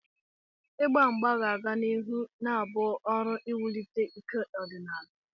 Igba mgba ga-aga n'ihu na-abụ ọrụ iwulite ike ọdịnala.